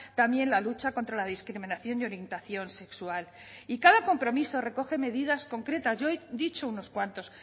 también la lucha contra la discriminación de orientación sexual y cada compromiso recoge medidas concretas yo he dicho unos cuantos